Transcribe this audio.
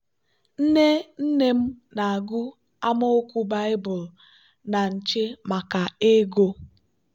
nne nne m na-agụ amaokwu baịbụl na nche maka ego.